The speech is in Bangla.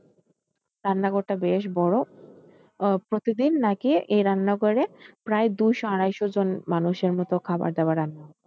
রান্নাঘর টা বেশ বড় আহ প্রতিদিন নাকি এই রান্না ঘরে প্রায় দুইশ আড়াইশ জন মানুষের এর মত খাবার দাবার রান্না হইত